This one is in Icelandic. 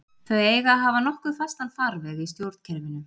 Þau eiga að hafa nokkuð fastan farveg í stjórnkerfinu.